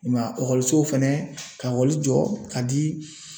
I m'a ye fɛnɛ ka jɔ ka di.